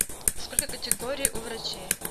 сколько категорий у врачей